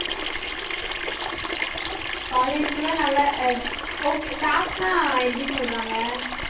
college கூட நல்லா okay staffs ன்னா எப்படி சொல்றாங்க